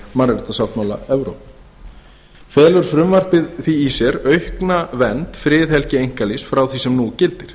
mannréttindasáttmála evrópu felur frumvarpið því í sér aukna vernd friðhelgi einkalífs frá því sem nú gildir